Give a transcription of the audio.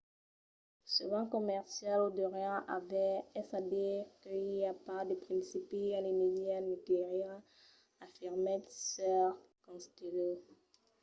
"se ven comercial o deuriam aver. es a dire que i a pas de principi a l'energia nucleara afirmèt sr. costello